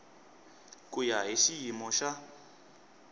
ku ya hi xiyimo xa